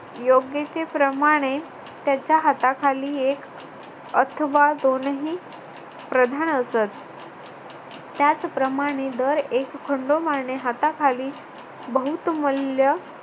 योग्यतेप्रमाणे त्याच्या हाताखाली एक अथवा दोनही प्रधान असत. त्याचप्रमाणे दर एक खंडोबाने हाताखाली बहुतमल्य